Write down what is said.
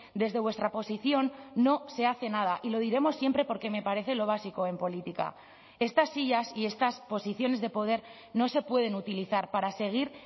desde vuestra posición no se hace nada y lo diremos siempre porque me parece lo básico en política estas sillas y estas posiciones de poder no se pueden utilizar para seguir